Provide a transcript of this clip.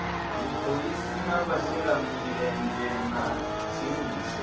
dziphoḽisi na vhashelamulenzhe na tshiimiswa